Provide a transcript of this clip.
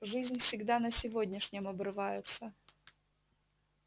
жизнь всегда на сегодняшнем обрывается